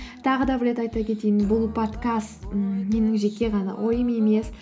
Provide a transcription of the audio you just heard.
тағы да бір рет айта кетейін бұл подкаст ммм менің жеке ғана ойым емес